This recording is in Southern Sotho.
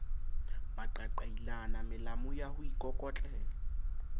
maqaqailana melamu ya ho ikokotlela